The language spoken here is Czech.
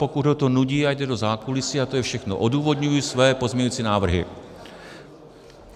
Pokud ho to nudí, ať jde do zákulisí, a to je všechno, odůvodňuji své pozměňující návrhy.